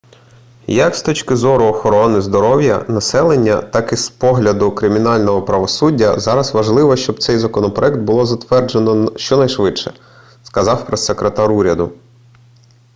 як з точки зору охорони здоров'я населення так і з погляду кримінального правосуддя зараз важливо щоб цей законопроєкт було затверджено щонайшвидше сказав прессекретар уряду